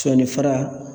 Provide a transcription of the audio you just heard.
Sɔni fara